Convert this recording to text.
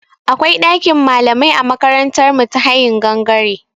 Akwai ɗakin malamai a makarantar mu ta hayin gangare.